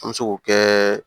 An bɛ se k'o kɛ